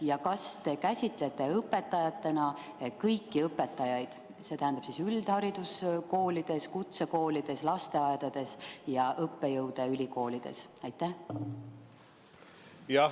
Ja kas te käsitate õpetajatena kõiki õpetajaid, see tähendab kõiki, kes on tööl üldhariduskoolides, kutsekoolides, lasteaedades ja õppejõududena ülikoolides?